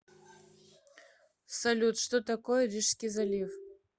салют что такое рижский залив